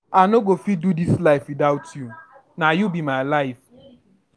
I no go fit do dis life witout you, na you be my life.